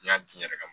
N y'a di n yɛrɛ ma